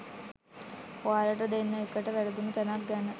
ඔයාලට දෙන්නඑකට වැරදුන තැනක් ගැන